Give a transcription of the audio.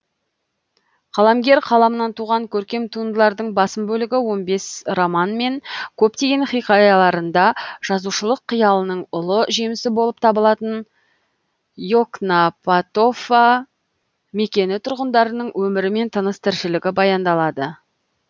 қаламгер қаламынан туған көркем туындылардың басым бөлігі он бес роман мен көптеген хикаяларында жазушылық қиялының ұлы жемісі болып табылатын и окнапатофа мекені тұрғындарының өмірі мен тыныс тіршілігі баяндалады